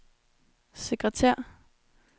sekretær